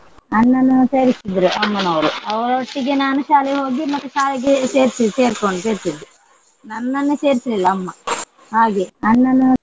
ಅಣ್ಣನನ್ನು ಸೇರಿಸಿದ್ರು ಅಮ್ಮನವರು. ಅವರೊಟ್ಟಿಗೆ ನಾನು ಶಾಲೆ ಹೋಗಿ ಮತ್ತೆ ಶಾಲೆಗೆ ಸೇರ್ಸಿ~ ಸೇರ್ಕೊಂಡ್ ಸೇರ್ಸಿದ್ದು. ನನ್ನನ್ನು ಸೇರ್ಸಿಲ್ಲಿಲ ಅಮ್ಮ ಹಾಗೆ ಅಣ್ಣನನ್ನು.